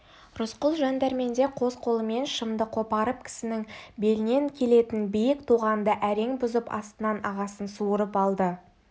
рысқұл жан дәрменде қос қолымен шымды қопарып кісінің белінен келетін биік тоғанды әрең бұзып астынан ағасын суырып алды